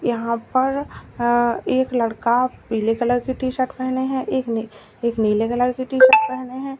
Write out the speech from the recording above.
यहां पर अ एक लड़का पीले कलर की टी-शर्ट पहने हैं एक ने एक नीले कलर की टी-शर्ट पहने है।